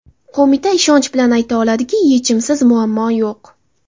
Qo‘mita ishonch bilan ayta oladiki, yechimsiz muammo yo‘q.